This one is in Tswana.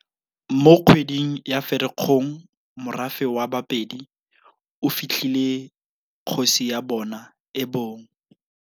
Mo kgweding ya Ferikgong morafe wa Ba pedi o fitlhile kgosi ya bona e bong.